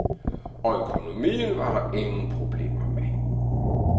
Og økonomien var der ingen problemer med.